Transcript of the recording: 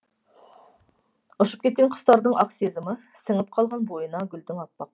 ұшып кеткен құстардың ақ сезімі сіңіп қалған бойына гүлдің аппақ